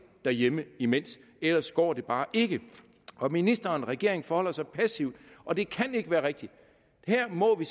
derhjemme imens ellers går det bare ikke ministeren og regeringen forholder sig passivt og det kan ikke være rigtigt her må vi